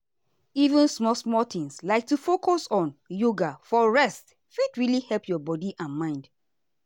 even small-small things like to focus on yoga for rest fit really help your body and mind.